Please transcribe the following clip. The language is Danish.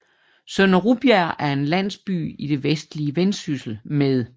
Sønder Rubjerg er en landsby i det vestlige Vendsyssel med